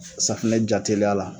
Safunɛ ja teliya la.